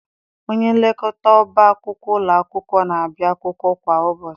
Onyenlekọta ọba akwụkwọ ụlọ akwụkwọ na-abịa akwụkwọ kwa ụbọchị.